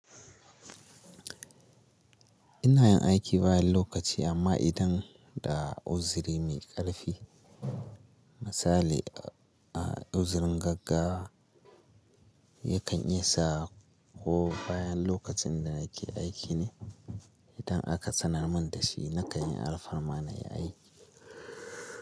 Ina yin aiki bayan lokaci amma idan da uzuri mai ƙarfi, misali a uzurin gaggawa yakan isa ko bayan lokacin da nake aiki ne idan aka tsanar mun da shi nakan yi alfarma na yi aikin.